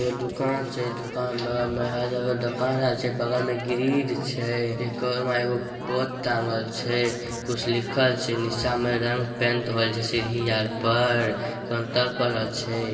एगो दूकान छै दुकान के बगल में